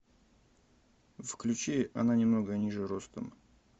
включи она немного ниже ростом